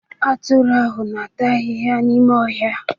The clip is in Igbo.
Atụrụ ahụ na-ata ahịhịa n'ime ọhịa